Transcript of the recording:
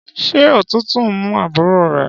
Ṣé òtútù ń mú àbúrò re?